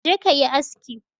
Je ka yi aski!